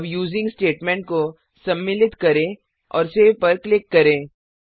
अब using statement को सम्मिलित करें और सेव पर क्लिक करें